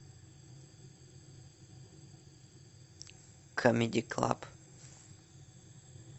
камеди клаб